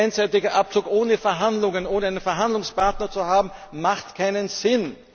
Ein einseitiger Abzug ohne Verhandlungen, ohne einen Verhandlungspartner zu haben, macht keinen Sinn!